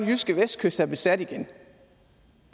jyske vestkyst er besat igen